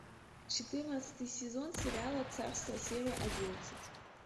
четырнадцатый сезон сериала царство серия одиннадцать